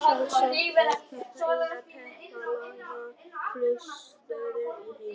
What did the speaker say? Sjálfsagt er þetta eina teppalagða flugstöðin í heiminum.